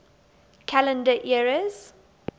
calendar eras